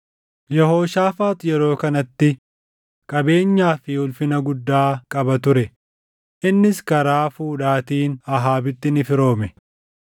Yehooshaafaax yeroo kanatti qabeenyaa fi ulfina guddaa qaba ture; innis karaa fuudhaatiin Ahaabitti ni firoome.